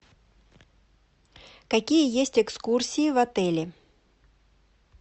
какие есть экскурсии в отеле